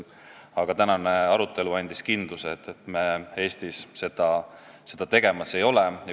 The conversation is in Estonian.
Aga tänane arutelu andis kindluse, et me Eestis seda tegemas ei ole.